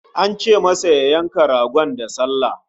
An ce masa ya yanka ragon da sallah